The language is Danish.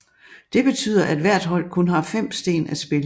Det betyder at hvert hold kun har 5 sten at spille